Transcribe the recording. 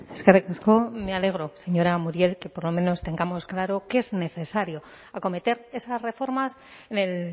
eskerrik asko me alegro señora muriel que por lo menos tengamos claro que es necesario acometer esas reformas en el